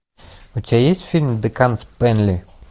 у тебя есть фильм декан спэнли